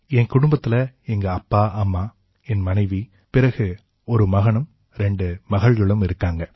என் குடும்பத்தில எங்க அப்பா அம்மா என் மனைவி பிறகு ஒரு மகனும் ரெண்டு மகள்களும் இருக்காங்க